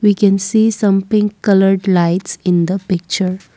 we can see some pink colour lights in the picture.